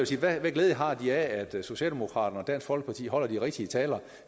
sige hvad glæde har de af at socialdemokraterne og dansk folkeparti holder de rigtige taler